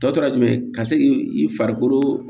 Tɔ tora jumɛn ye ka se k'i farikolo